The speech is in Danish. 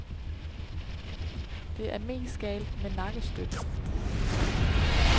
Det er mest galt med nakkestøtten.